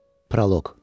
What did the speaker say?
Proloq.